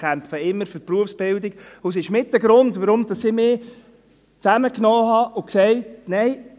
Ich kämpfe immer für die Berufsbildung, und es ist mit ein Grund, warum ich mich zusammengenommen habe und mir gesagt habe: